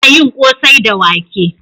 Ana yin ƙosai da wake.